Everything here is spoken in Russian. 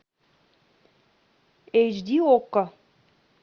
эйч ди окко